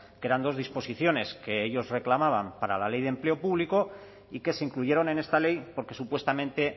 que eran dos disposiciones que ellos reclamaban para la ley de empleo público y que se incluyeron en esta ley porque supuestamente